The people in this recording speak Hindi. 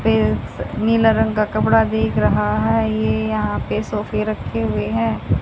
नीला रंग का कपड़ा दिख रहा है ये यहां पे सोफे रखे हुए हैं।